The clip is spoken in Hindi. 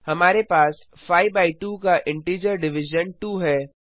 हमारे पास 5 बाय 2 का इंटीजर डिविजन 2 है